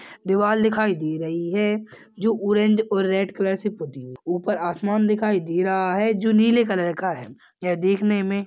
दीवाल दिखाई दे रही है जो ऑरेंज और रेड कलर से पुती हुई-- ऊपर आसमान दिखाई दे रहा है जो नीले कलर का है यह देखने--